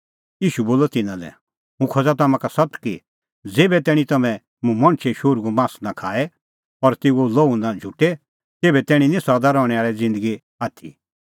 ईशू बोलअ तिन्नां लै हुंह खोज़ा तम्हां का सत्त कि ज़ेभै तैणीं तम्हैं मुंह मणछे शोहरूओ मास नां खाए और तेऊओ लोहू नां झुटे तेभै तैणीं निं सदा रहणैं आल़ी ज़िन्दगी आथी